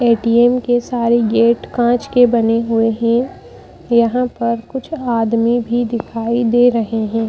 ATM के सारे gate कांच के बने हुए हैं यहां पर कुछ आदमी भी दिखाई दे रहे हैं।